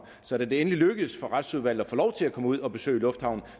så da det endelig lykkedes for retsudvalget at få lov til at komme ud og besøge lufthavnen